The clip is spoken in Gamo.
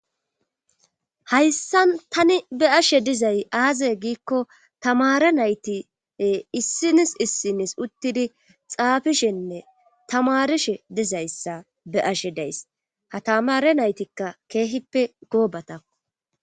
hayssan tani be'ashe dizay aaze giikko tamare naytie issinis issinis uttidi xaafishenne tamarishe dizayssa be ashe dayss ha tamare naytikka keehippe goobatako